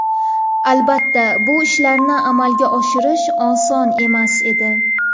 Albatta, bu ishlarni amalga oshirish oson emas edi.